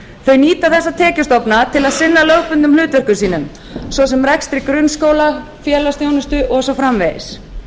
þau nýta þessa tekjustofna til þess að sinna lögbundnum hlutverkum sínum svo sem rekstri grunnskóla félagsþjónustu og svo framvegis